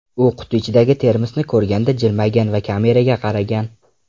U quti ichidagi termosni ko‘rganda jilmaygan va kameraga qaragan.